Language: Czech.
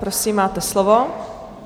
Prosím, máte slovo.